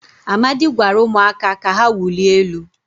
amadi gwara umuaka ka ha wulie elu